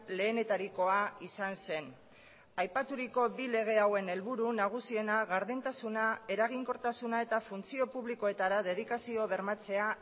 lehenetarikoa izan zen aipaturiko bi lege hauen helburu nagusiena gardentasuna eraginkortasuna eta funtzio publikoetara dedikazio bermatzea